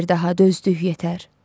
Bəsdir daha dözdük yetər.